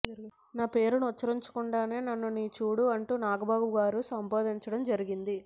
నా పేరును ఉచ్చరించకుండానే నన్ను నీచుడు అంటూ నాగబాబు గారు సంబోధించడం జరిగింది